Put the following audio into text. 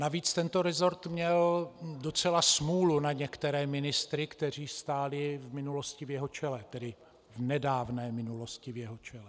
Navíc tento resort měl docela smůlu na některé ministry, kteří stáli v minulosti v jeho čele, tedy v nedávné minulosti v jeho čele.